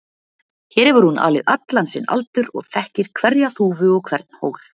Hér hefur hún alið allan sinn aldur og þekkir hverja þúfu og hvern hól.